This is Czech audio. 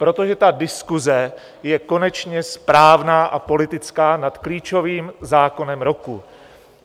Protože ta diskuse je konečně správná a politická nad klíčovým zákonem roku.